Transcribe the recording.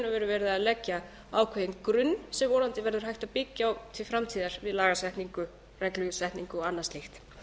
veru verið að leggja ákveðinn grunn sem vonandi verður hægt að byggja á til framtíðar við lagasetningu reglusetningu og annað slíkt